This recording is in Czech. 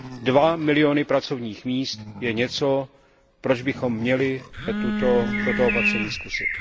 Dva miliony pracovních míst je něco, proč bychom měli toto opatření zkusit.